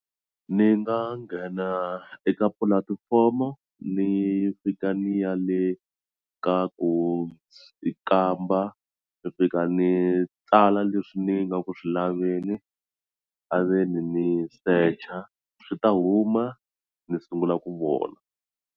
Ni nga nghena eka pulatifomo ni fika ni ya le ka ku kamba ni fika ni tsala leswi ni nga ku swi laveni a ve ni ni search a swi ta huma ni sungula ku vona.